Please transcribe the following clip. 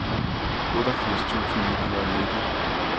otteogfirs tusind ni hundrede og nitten